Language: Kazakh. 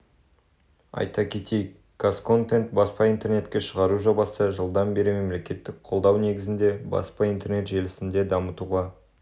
айта кетейік қазконтент баспа интернетке шығару жобасы жылдан бері мемлекеттік қолдау негізінде баспа интернет желісінде дамытуға